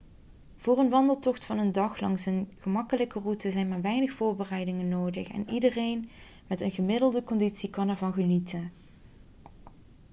voor een wandeltocht van een dag langs een gemakkelijke route zijn maar weinig voorbereidingen nodig en iedereen met een gemiddelde conditie kan ervan genieten